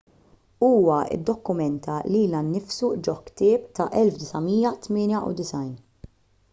huwa ddokumenta lilu nnifsu ġo ktieb tal-1998